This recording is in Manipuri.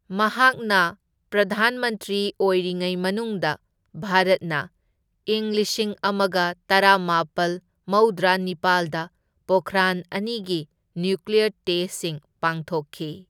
ꯃꯍꯥꯛꯅ ꯄ꯭ꯔꯙꯥꯟ ꯃꯟꯇ꯭ꯔꯤ ꯑꯣꯢꯔꯤꯉꯩ ꯃꯅꯨꯡꯗ, ꯚꯥꯔꯠꯅ ꯏꯪ ꯂꯤꯁꯤꯡ ꯑꯃꯒ ꯇꯔꯥꯃꯥꯄꯜ ꯃꯧꯗ꯭ꯔꯥ ꯅꯤꯄꯥꯜꯗ ꯄꯣꯈ꯭ꯔꯥꯟ ꯑꯅꯤꯒꯤ ꯅ꯭ꯌꯨꯀ꯭ꯂꯤꯌꯔ ꯇꯦꯁꯠꯁꯤꯡ ꯄꯥꯡꯊꯣꯛꯈꯤ